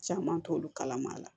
Caman t'olu kalama la